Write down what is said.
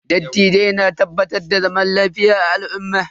Dattijai na tabbatar da zaman lafiya a al'umma.